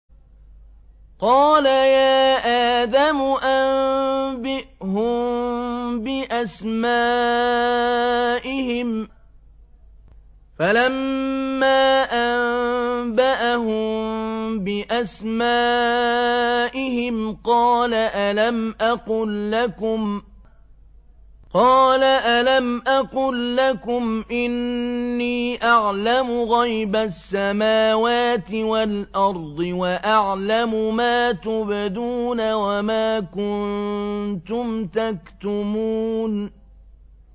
قَالَ يَا آدَمُ أَنبِئْهُم بِأَسْمَائِهِمْ ۖ فَلَمَّا أَنبَأَهُم بِأَسْمَائِهِمْ قَالَ أَلَمْ أَقُل لَّكُمْ إِنِّي أَعْلَمُ غَيْبَ السَّمَاوَاتِ وَالْأَرْضِ وَأَعْلَمُ مَا تُبْدُونَ وَمَا كُنتُمْ تَكْتُمُونَ